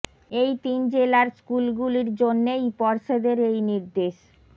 এই তিন জেলার স্কুলগুলির জন্যেই পর্ষদের এই নির্দেশ